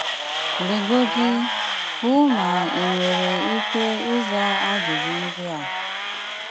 legodi, hụ má ị nwéré íké ízá ajụjụ ndị á